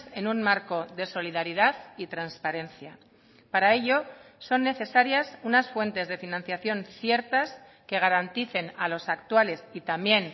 en un marco de solidaridad y transparencia para ello son necesarias unas fuentes de financiación ciertas que garanticen a los actuales y también